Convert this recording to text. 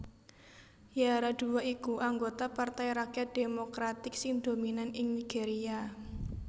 Yaradua iku anggota Partai Rakyat Demokratik sing dominan ing Nigeria